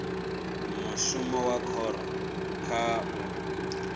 mushumo wa khoro kha u